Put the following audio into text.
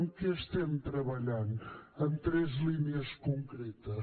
què estem treballant en tres línies concretes